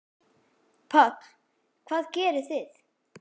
Páll: Hvað gerið þið?